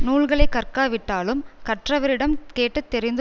நூல்களை கற்காவிட்டாலும் கற்றவரிடம் கேட்டு தெரிந்து